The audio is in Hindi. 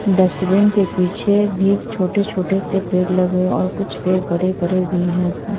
डस्टबिन के पीछे भी छोटे-छोटे से पेड़ लगे हुए और कुछ पेड़ बड़े-बड़े भी है ।